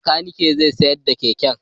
Bakanikin zai sayar da keken.